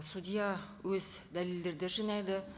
судья өз дәлелердерді жинайды